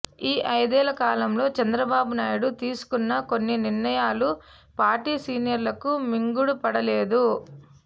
ఈ అయిదేళ్ల కాలంలో చంద్రబాబు నాయుడు తీసుకున్న కొన్ని నిర్ణయాలు పార్టీ సీనియర్లకు మింగుడు పడలేదు